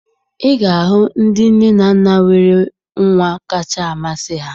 Ị ga-ahụ ndị nne na nna nwere nwa kasị amasị ha